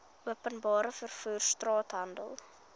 openbare vervoer straathandel